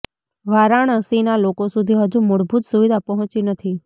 વારાણસીના લોકો સુધી હજુ મૂળભુત સુવિધા પહોંચી નથી